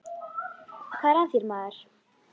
Hvað er að þér maður?